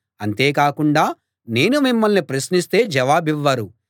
అంతే కాకుండా నేను మిమ్మల్ని ప్రశ్నిస్తే జవాబివ్వరు